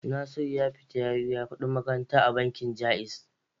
Nasiru ya tafi ya biya kuɗin makaranta a bankin Ja'iz.